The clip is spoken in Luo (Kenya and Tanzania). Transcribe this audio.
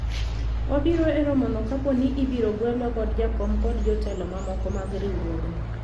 wabiro e romo no kapo ni ibiro gwelwa kod jakom kod jotelo mamoko mag riwruogno